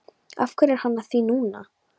Af hverju er hann að því núna?